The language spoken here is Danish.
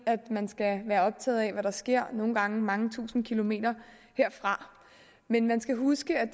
at man skal være optaget af hvad der sker nogle gange mange tusinde kilometer herfra men man skal huske at